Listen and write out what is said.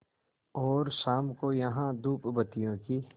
और शाम को यहाँ धूपबत्तियों की